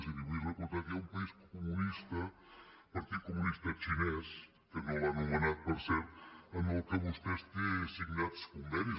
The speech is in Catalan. i li vull recordar que hi ha un país comunista partit comunista xinès que no l’ha ano·menat per cert amb el qual vostès tenen signats con·venis